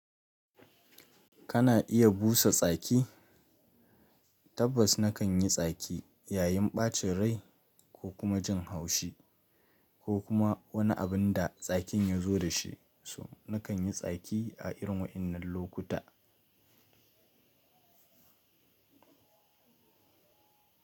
Kana iya busa tsaki? Tabbas na kan yi tsaki yayin ɓacin rai ko kuma jin haushi ko kuma wani abin da tsakin ya zo da shi, so na kan yi tsaki a irin waɗannan lokuta.